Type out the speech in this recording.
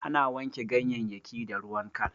Ana wanke ganyayyaki da ruwan kal.